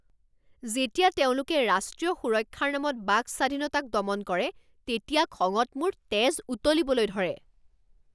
যেতিয়া তেওঁলোকে ৰাষ্ট্ৰীয় সুৰক্ষাৰ নামত বাক স্বাধীনতাক দমন কৰে তেতিয়া খঙত মোৰ তেজ উতলিবলৈ ধৰে।